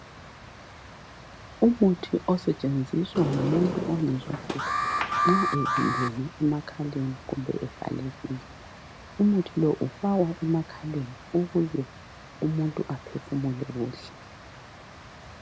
Umuthi osetshenziswa ngumuntu ongezwa kuhle nxa evimbene emakhaleni kumbe evalekile . Umuthi lo ufakwa emakhaleni ukuze umuntu aphefumule kuhle .